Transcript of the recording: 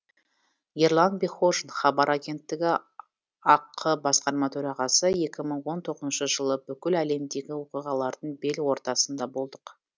ерлан бекхожин хабар агенттігі ақ басқарма төрағасы екі мың он тоғызыншы жылы бүкіл әлемдегі оқиғалардың бел ортасында болдық